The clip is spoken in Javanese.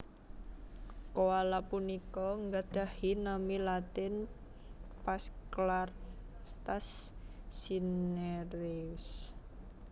Koala punika nggadhahi nami latin Phasclarctas Cinereus